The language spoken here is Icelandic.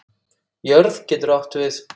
Jörð getur átt við